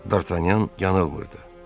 Dartanyan yanılmırdı.